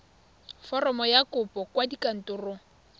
foromo ya kopo kwa kantorong